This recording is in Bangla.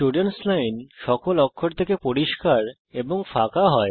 স্টুডেন্টস লাইন সকল অক্ষর থেকে পরিস্কার এবং ফাঁকা হয়